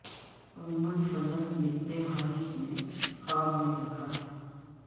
ام الفضل بنت حارث نے خواب میں دیکھا تھا